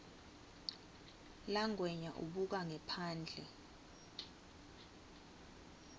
langwenya ubuka ngephandle